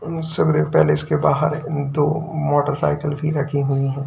Palace के बाहर दो मोटरसाइकिल की रखी हुई है।